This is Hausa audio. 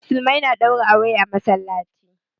Musulmai na ɗaura aure a masallaci